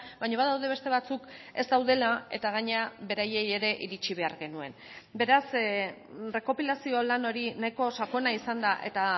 baina badaude beste batzuk ez daudela eta gainera beraiei ere iritsi behar genuen beraz errekopilazio lan hori nahiko sakona izan da eta